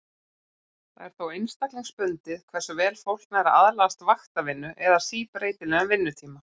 Það er þó einstaklingsbundið hversu vel fólk nær að aðlagast vaktavinnu eða síbreytilegum vinnutíma.